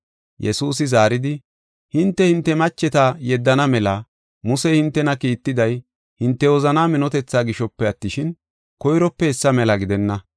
Yesuusi zaaridi, “Hinte, hinte macheta yeddana mela Musey hintena kiittiday, hinte wozanaa minotethaa gishope attishin, koyrope hessa mela gidenna.